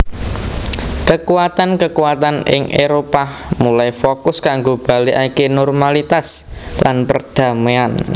Kekuatan kekuatan ing Éropah mulai fokus kanggo balikaké normalitas lan perdaméan